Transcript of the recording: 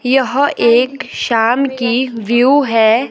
यह एक शाम की व्यू है।